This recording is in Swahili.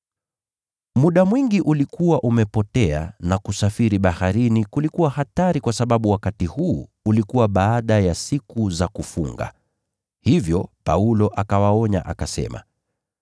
Muda mwingi ulikuwa umepotea na kusafiri baharini kulikuwa hatari kwa sababu wakati huu ulikuwa baada ya siku za kufunga. Hivyo Paulo akawaonya akasema,